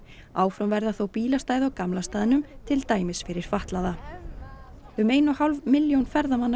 áfram verða þó bílastæði á gamla staðnum til dæmis fyrir fatlaða um ein og hálf milljón ferðamanna